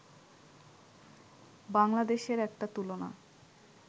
বাংলাদেশের একটা তুলনা